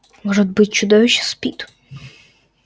может быть чудовище спит